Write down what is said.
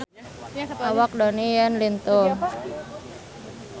Awak Donnie Yan lintuh